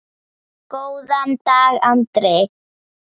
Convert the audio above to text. Góðan dag, Andri!